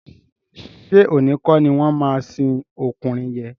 Ṣé òní kọ́ ni wọ́n máa sin ọkùnrin yẹn?